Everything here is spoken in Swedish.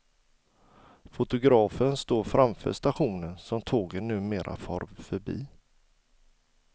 Fotografen står framför stationen som tågen numera far förbi.